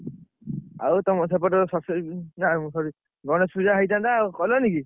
ଆଉ ତମ ସେପଟରେ ସରସ୍ୱତୀ ପୂଜା ଓ sorry ଗଣେଶ ପୂଜା ହେଇଥାନ୍ତା କଲନିକି?